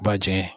Ba jɛngɛ